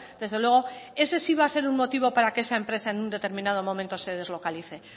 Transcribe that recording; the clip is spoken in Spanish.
desde luego ese sí va a ser un motivo para que esa empresa en un determinado momento se deslocalice